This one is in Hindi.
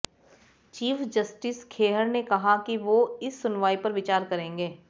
चीफ जस्टिस खेहर ने कहा है कि वो इस सुनवाई पर विचार करेंगे